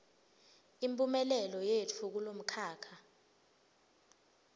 imphumelelo yetfu kulomkhakha